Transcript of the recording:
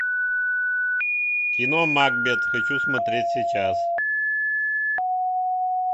кино макбет хочу смотреть сейчас